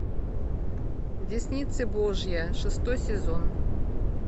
десница божья шестой сезон